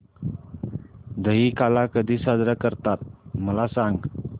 दहिकाला कधी साजरा करतात मला सांग